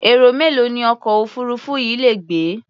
Èrò mélòó ni ọkọ̀ òfuururú yìí lè gbé?